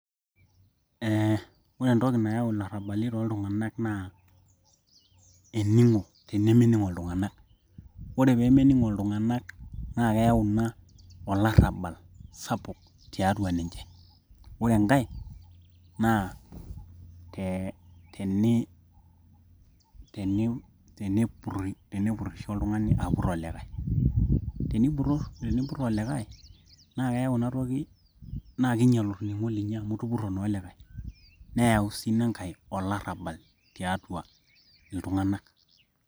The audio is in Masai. Eeh ore entoki nayau ilarabali tooltung'anak naa ening'o tenemening'o iltung'anak ore peemening'o iltung'anak naa keeyau ina olarabal sapuk tiatua ninche ore enkae naa ee tenipurisho oltung'ani apur olikae ,tenipur olikae naa eyau ina toki naa keinyial orning'o linyi amu itupuro naa olikae neeyau sii inankae olarabal tiatua iltung'anak